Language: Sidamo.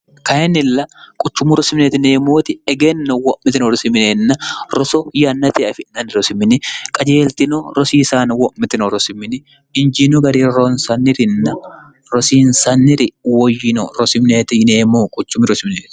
kayinnilla quchummu rosimiineemmooti egenno wo'mitio rosimneenna roso yannate afi'nanni rosimini qajeeltino rosiisaano wo'mitino rosimini injiinu gari ronsannirinna rosiinsanniri woyyino rosimineeti yineemmo quchumi rosimineet